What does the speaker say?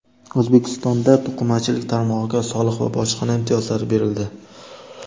O‘zbekistonda to‘qimachilik tarmog‘iga soliq va bojxona imtiyozlari berildi.